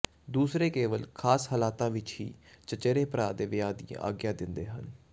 ਦੂਸਰੇ ਕੇਵਲ ਖਾਸ ਹਾਲਾਤਾਂ ਵਿਚ ਹੀ ਚਚੇਰੇ ਭਰਾ ਦੇ ਵਿਆਹ ਦੀ ਆਗਿਆ ਦਿੰਦੇ ਹਨ